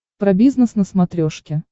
про бизнес на смотрешке